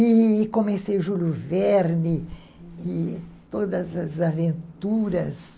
E comecei Júlio Verne e todas as aventuras.